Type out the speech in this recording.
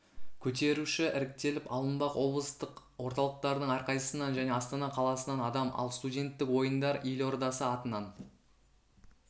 көтеруші іріктеліп алынбақ облыстық орталықтардың әрқайсысынан және астана қаласынан адам ал студенттік ойындар елордасы атынан